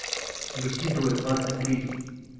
выкидывать двадцать третий